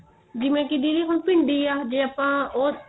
ਜਿਵੇਂ ਕੀ ਦੀਦੀ ਹੁਣ ਭਿੰਡੀ ਏ ਜੇ ਆਪਾਂ ਉਹ